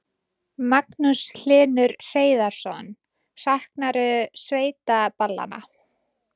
Magnús Hlynur Hreiðarsson: Saknarðu sveitaballanna?